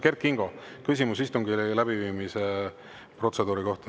Kert Kingo, küsimus istungi läbiviimise protseduuri kohta.